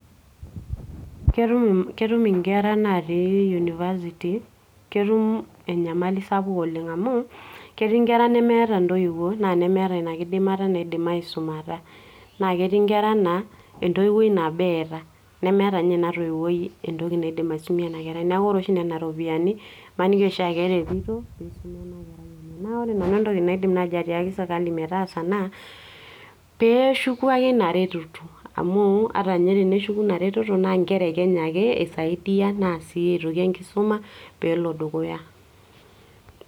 ketum inkera natii university, ketum enyamali sapuk oleng amu ketii inkera nemeeta intoiwuo naa nemeeta ina kidimata naidim aisumata naa ketii inkera naa entoiwuoi nabo eeta nemeeta ninye ina toiwuoi entoki naidim aisumie ena kerai neeku ore oshi nena ropiyiani imaniki oshi akeretito piisuma ena kerai enye naa ore nanu entoki naidim naaji atiaki sirkali metaasa naa peeshuku ake ina reteto amu ata ninye teneshuku ina reteto naa inkera e kenya ake isaidia naa sii aitoki enkisuma peelo dukuya.